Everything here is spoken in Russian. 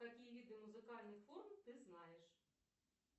какие виды музыкальных форм ты знаешь